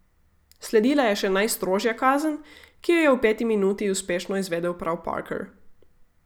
Sledila je še najstrožja kazen, ki jo je v peti minuti uspešno izvedel prav Parker.